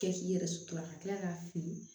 Kɛ k'i yɛrɛ sutura ka tila k'a fili